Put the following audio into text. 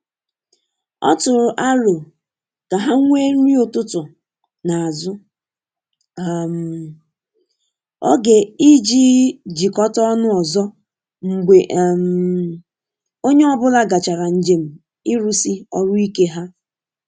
Ọ tụrụ arọ ka ha nwee nri ụtụtụ na azu um oge ijii jikota ọnụ ozo mgbe um onye ọbula gachara njem irusi ọrụ ike ha.